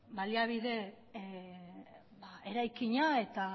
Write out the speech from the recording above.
baliabide eraikina eta